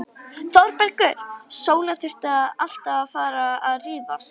ÞÓRBERGUR: Sóla, þurfum við alltaf að vera að rífast?